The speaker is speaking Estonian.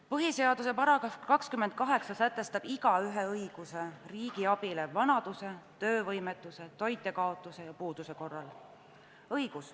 Põhiseaduse § 28 sätestab igaühe õiguse riigi abile vanaduse, töövõimetuse, toitjakaotuse ja puuduse korral.